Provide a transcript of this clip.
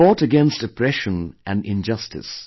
He fought against oppression & injustice